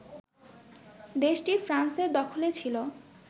দেশটি ফ্রান্সের দখলে ছিল